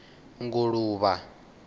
nguluvha